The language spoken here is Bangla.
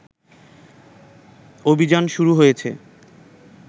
অভিযান শুরু হয়েছে